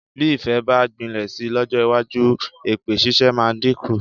Bí ìfẹ́ bá gbilẹ̀ si lọ́jọ́ iwájú, èpè ṣíṣe máa dínkù.